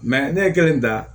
ne ye kelen dan